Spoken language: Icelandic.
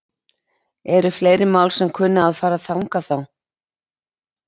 Eru fleiri mál sem að kunna að fara þangað þá?